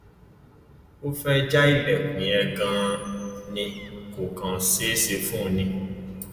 ó fẹẹ já ilẹkùn yẹn ganan ni kò kàn ṣeé ṣe fún un ni